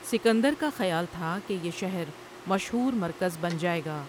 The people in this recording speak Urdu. سکندر کا خیال تھا یہ شہر مشہور مرکز بن جائے گا ۔